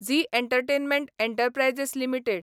Zee entertainment enterprises limited